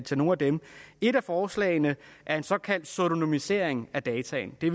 til nogle af dem et af forslagene er en såkaldt pseudonymisering af data det